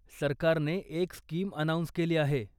सरकारने एक scheme announce केली आहे.